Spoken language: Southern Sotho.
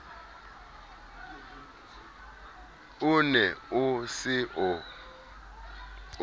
o ne o se o